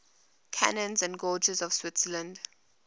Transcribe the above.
canyons and gorges of switzerland